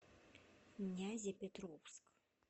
нязепетровск